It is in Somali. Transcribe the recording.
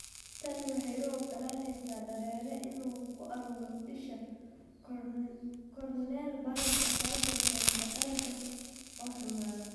Tani waxay u oggolaanaysaa dareere inuu ku ururo isha (korneal bararka), taasoo keenta aragga oo xumaada.